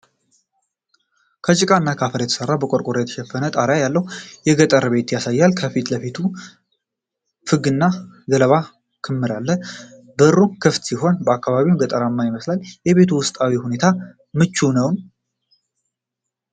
ከጭቃና ከአፈር የተሠራ፣ በቆርቆሮ የተሸፈነ ጣሪያ ያለው የገጠር ቤት ያሳያል። ከቤቱ ፊትለፊት ፍግ እና ገለባ ክምር አለ። በሩ ክፍት ሲሆን፣ አካባቢው ገጠራዊ ይመስላል። የቤቱ ውስጣዊ ሁኔታ ምቹ ነው?